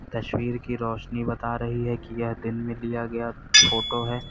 तस्वीर की रोशनी बता रही है कि यह दिन में लिया गया फोटो है।